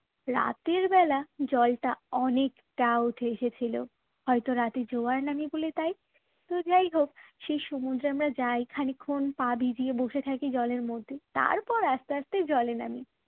রাতের বেলা জলটা অনেকটা উঠে এসেছিল হয়তো রাতে জোয়ার নামে বলে তাই তো যাই হোক সেই সমুদ্রে আমরা যাই খানিকক্ষণ পা ভিজিয়ে বসে থাকি জলের মধ্যে তারপর আস্তে আস্তে জলে নামি